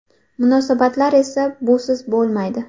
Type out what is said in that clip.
Munosabatlar esa busiz bo‘lmaydi.